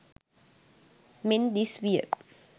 මෙන් දිස් විය.